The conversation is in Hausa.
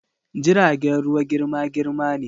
jiragen ruwa girma-girma ne.